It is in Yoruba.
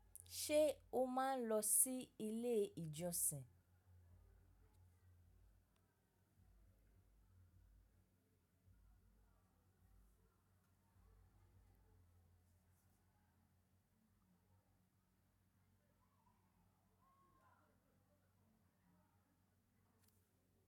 Ṣé o máa ń lọ sí ilé ìjọsìn?